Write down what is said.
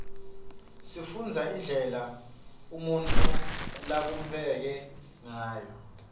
sifundza indlela umuntfu labumbeke ngayo